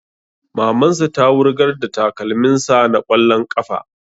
Maman sa ta wurgar da takalmin sa na ƙwallon ƙafa